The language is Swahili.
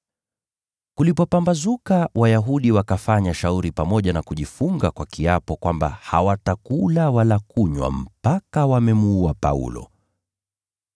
Kulipopambazuka Wayahudi wakafanya shauri pamoja na kujifunga kwa kiapo kwamba hawatakula wala kunywa mpaka wawe wamemuua Paulo.